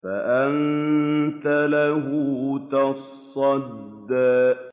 فَأَنتَ لَهُ تَصَدَّىٰ